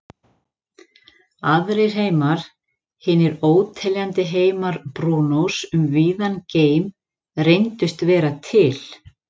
Aðrir heimar, hinir óteljandi heimar Brúnós um víðan geim, reyndust vera til.